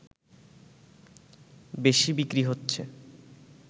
বেশি বিক্রি হচ্ছে